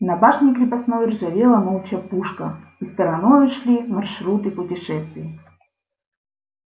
на башне крепостной ржавела молча пушка и стороной ушли маршруты путешествий